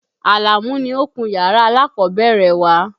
Àlàmú ni ó kun yàrá alákọ̀ọ́bẹ̀rẹ̀ wa.